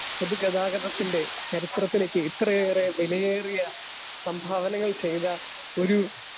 speaker 2 പൊതുഗതാഗതത്തിൻ്റെ ചരിത്രത്തിലേക്ക് ഇത്രയേറെ വെലയേറിയ സംഭാവനകൾ ചെയ്ത ഒരു